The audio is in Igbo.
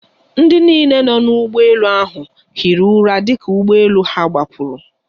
Ndị niile nọ n'ụgbọ elu ahụ hiri ụra dịka ụgbọ elu ha gbapụrụ.